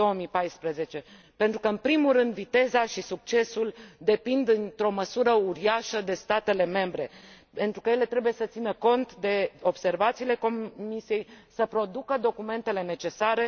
2014. În primul rând, viteza și succesul depind într o măsură uriașă de statele membre, pentru că ele trebuie să țină cont de observațiile Comisiei, să producă documentele necesare.